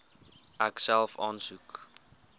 ek self aansoek